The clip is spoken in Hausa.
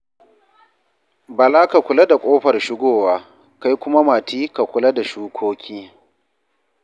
Bala ka kula da ƙofar shugowa, kai kuma Mati ka kula da shukoki.